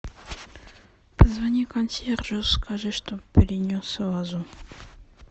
позвони консьержу скажи чтобы принес вазу